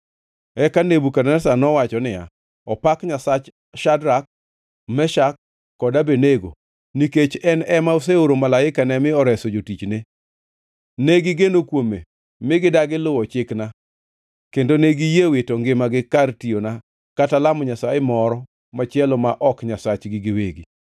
Eka Nebukadneza nowacho niya, “Opak Nyasach Shadrak, Meshak kod Abednego nikech en ema oseoro malaikane mi oreso jotichne! Negigeno kuome mi gidagi luwo chikna kendo ne giyie wito ngimagi kar tiyona kata lamo nyasaye moro machielo ma ok Nyasachgi giwegi.